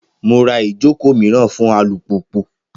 Mo ra ijoko miiran fun alupupu